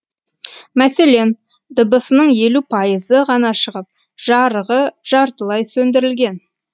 мәселен дыбысының елу пайызы ғана шығып жарығы жартылай сөндірілген